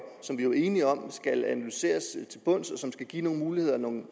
som vi var enige om skal analyseres til bunds og som skal give nogle muligheder nogle